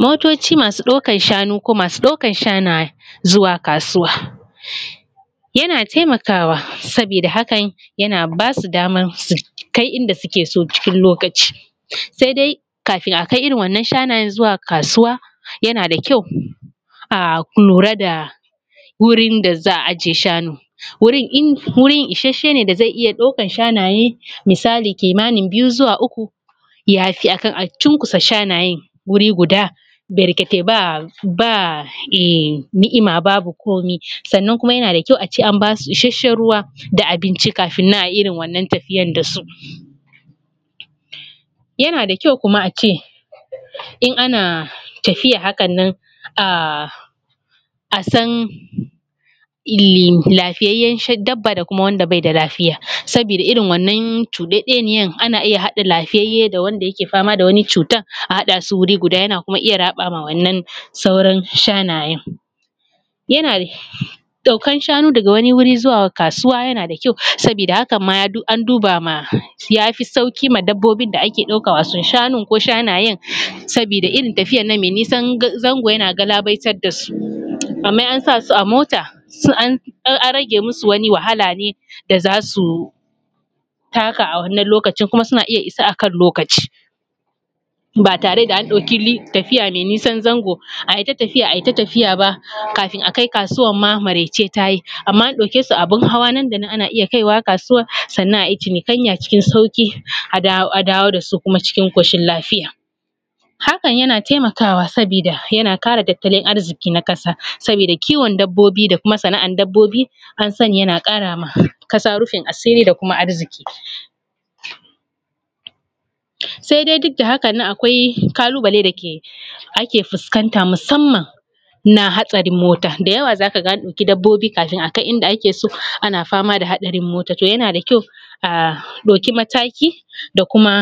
Motoci masu ɗaukar shanu ko masu ɗaukar shanaye zuwa kasuwa, yana taimakawa saboda hakan yana basu damar su kai inda suke so cikin lokaci sai dai kafin akai irin wannan shanayen zuwa kasuwa yana da kyau mu lura da wurin da za a ajiye shanun wurin isasshe ne da zai iya ɗaukar shanayen misali kimanin biyu zuwa uku yafi akan a cunkusa shanayen wuri guda barkatai ba ni’ima babu komai sannan kuma yana da kyau ace an basu isasshen ruwa da abinci kafin ayi irin wannan tafiyar da su, yana da kyau kuma ace in ana tafiya haka nan a san lafiyayyan dabba da kuma wanda bai da lafiya saboda irin wannan cuɗeɗeniyar ana iya haɗa lafiyayye da wanda yake fama da wani cutan a haɗa su guri guda yana kuma iya raɓa ma wannan sauran shanayen, ɗaukan shanu daga wani wuri zuwa kasuwa yana da kyau saboda haka an duba yafi sauki ma dabbobi da ake ɗauka wato shanun ko shanayen, saboda irin tafiyar mai nisa zango yana galabaitar da su amma in an sasu a mota an rage masu wani wahala ne da zasu taka a wannan lokacin kuma suna iya isa akan lokaci ba tare da an ɗauki tafiya mai nisan zango ayi ta tafiya ayi ta tafiya ba kafin akai kasuwan ma maraice tayi amma an ɗauke su a abin hawa nan da nan ana iya kaiwa kasuwan sannan ayi cinikaya cikin sauki a dawo dasu cikin koshin lafiya hakan yana taimakawa saboda yana kara tattalin arziki na kasa saboda kiwon dabbobi da kuma sana’ar dabbobi an sani yana kara ma kasa rufin asiri da kuma tattalin arziki, sai dai duk da haka nan akwai kalubale da ke ake fuskanta musamman na hatsarin mota da yawa zaka ga an ɗauki dabbobi kafin akai inda ake so ana fama da hatsarin mota yana da kyau a ɗauki mataki da kuma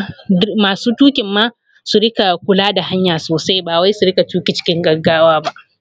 masu tukin ma su rika kula da hanya sosai ba wai su rika tuki cikin gaggawa ba.